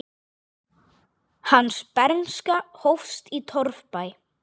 Hans bernska hófst í torfbæ.